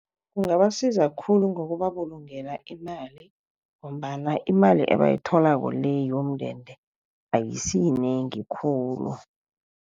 Kungabasiza khulu ngokubabulungela imali ngombana imali ebayitholako le yomndende ayisiyinengi khulu.